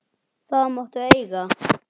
Það máttu eiga.